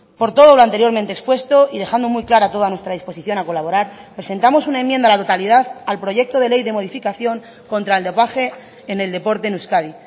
por todo lo anteriormente expuesto y dejando muy clara toda nuestra disposición a colaborar presentamos una enmienda a la totalidad al proyecto de ley de modificación contra el dopaje en el deporte en euskadi